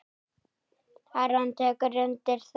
Aron tekur undir það.